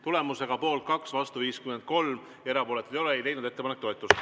Tulemusega poolt 2, vastu 53 ja erapooletuid 0, ei leidnud ettepanek toetust.